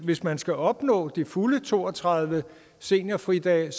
hvis man skal opnå de fulde to og tredive seniorfridage